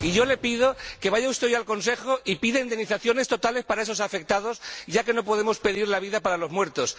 Le pido que vaya usted hoy al Consejo y pida indemnizaciones totales para esos afectados, ya que no podemos pedir la vida para los muertos.